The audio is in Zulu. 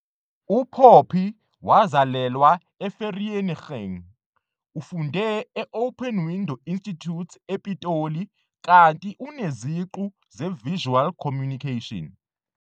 UPoppy wazalelwa eVereeniging. Ufunde e- Open Window Institute ePitoli kanti uneziqu zeVisual Communication.